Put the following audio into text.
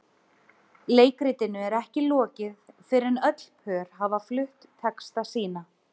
Leikritinu er ekki lokið fyrr en öll pör hafa flutt texta sína.